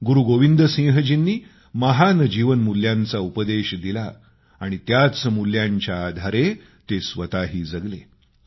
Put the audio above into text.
गुरूगोविंद सिंहजींनी महान जीवनमूल्यांचा उपदेश दिला आणि त्याच मूल्यांच्या आधारे ते स्वतःही जगले